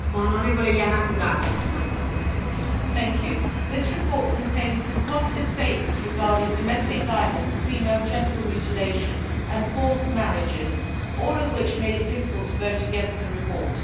Madam President, this report contains some positive statements regarding domestic violence, female genital mutilation and forced marriages, all of which made it difficult to vote against the report.